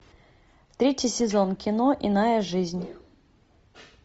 третий сезон кино иная жизнь